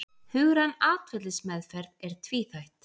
Hugræn atferlismeðferð er tvíþætt.